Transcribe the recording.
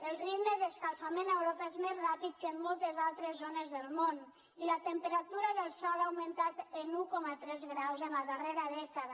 el ritme d’escalfament a europa és més ràpid que en moltes altres zones del món i la temperatura del sòl ha augmentat en un coma tres graus la darrera dècada